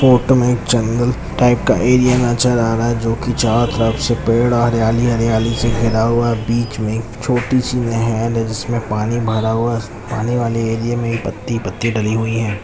Photo में एक जंगल टाइप का एरिया नज़र आ रहा है जो कि चारो तरफ से पेड़ अ हरियाली-हरियाली से घिरा हुआ है बीच में एक छोटी सी नहर है जिसमें पानी भरा हुआ है पानी वाले एरिया में ही पत्ती-पत्ती डली हुई है।